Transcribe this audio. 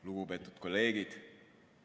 Lugupeetud kolleegid!